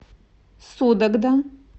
судогда